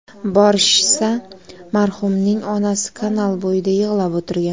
Borishsa, marhumning onasi kanal bo‘yida yig‘lab o‘tirgan.